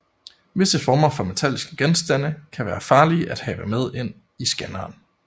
Visse former for metalliske genstande kan være farlige at have med ind i scanneren